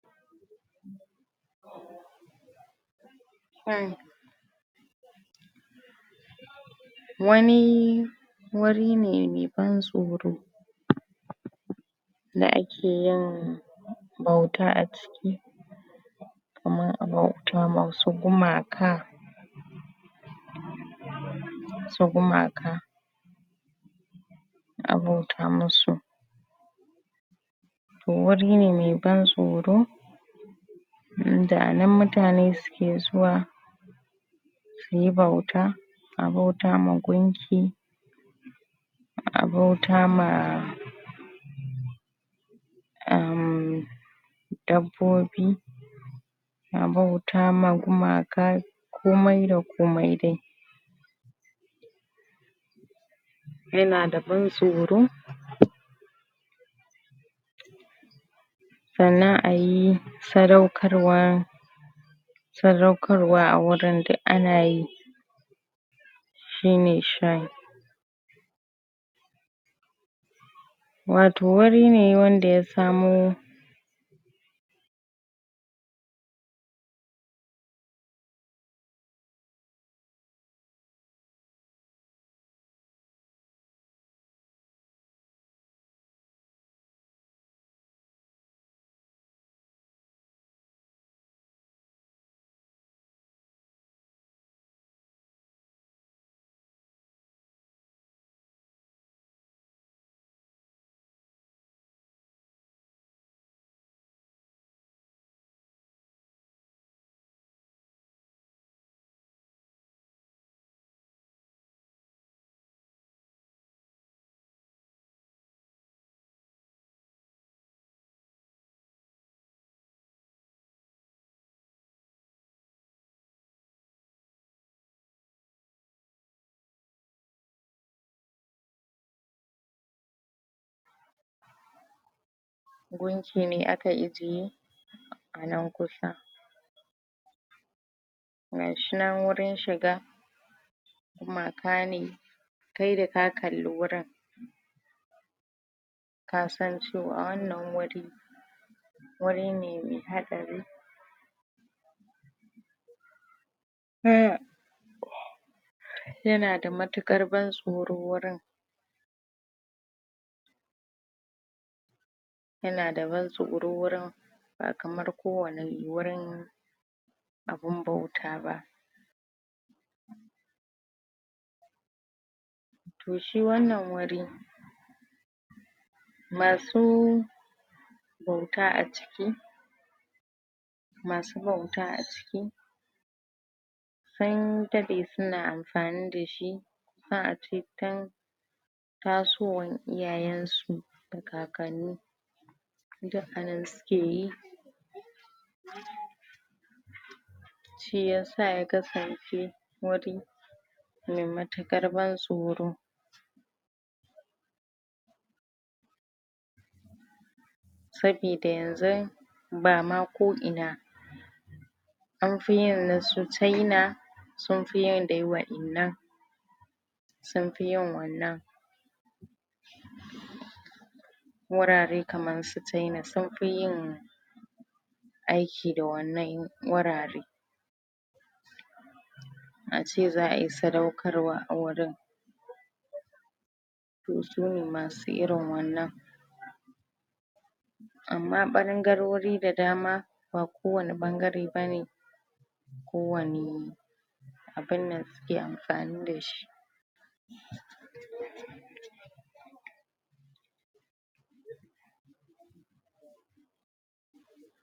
Um wani wuri ne me ban tsoro da akeyin bauta a ciki kaman a bauta ma wasu gumaka wasu gumaka a bauta musu to wuri ne me ban tsoro inda anan mutane suke zuwa suyi bauta a bauta ma gunki a bauta ma um dabbobi a bauta ma gumaka komai da komai dai. Yanada ban tsoro sannan ayi sadaukarwan sadaukarwa a wurin duk anayi shine shrine wato wuri ne wanda ya samo gunki ne aka ijiye anan kusa gashinan wurin shiga gumaka ne kai da ka kalli wurin kasan cewa wannan wuri wuri ne me haɗari yanada mutuƙar ban tsoro wurin yanada ban tsoro wurin ba kamar kowanne wurin abin bauta ba to shi wannan wuri masu bauta a ciki masu bauta a ciki sun daɗe suna amfani dashi a cikin tasowan iyayen su da kakanni duk anan sukeyi shiyasa ya kasance wuri me mutuƙar ban tsoro sabida yanzun bama ko ina anfi yin nasu China sunfi yin dai waƴannan sunfi yin wannan wurare kaman su China sunfi yin aiki da wannan wurare ace za ai sadaukarwa a wurin to sune masu irin wannan amma ɓangarori da dama ba kowanne ɓangare bane kowanne abinnan suke amfani dashi.